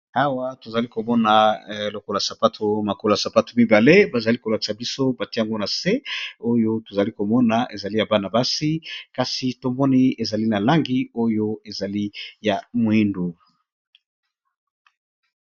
Awa tozali komona lokolo sapato makolo ya sapato mibale bazali ko lakisa biso batie yango na se, oyo tozali komona ezali ya bana basi kasi tomoni ezali na langi oyo ezali ya mwindu.